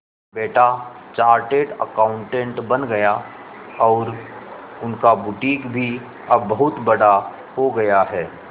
बेटा chartered accountant बन गया और उनका बुटीक भी अब बहुत बड़ा हो गया है